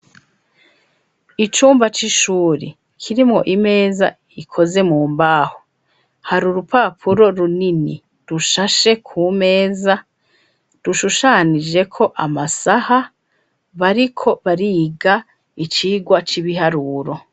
Icumba c'ishure, kirimwo imeze ikoze mumbaho, hari urupapuro runini rushashe kumeza, rushushanijeko amasaha bariko bariga icirwa cibiharuro.